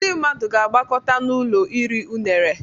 Ndị mmadụ ga-agbakọta n'ụlọ iri unere